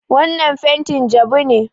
Wannan fentin jabu ne.